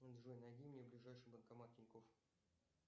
джой найди мне ближайший банкомат тинькофф